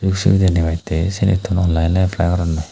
subidey debattey sinitun onlaine eplai goronney.